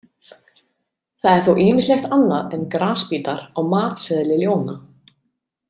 Það er þó ýmislegt annað en grasbítar á „matseðli“ ljóna.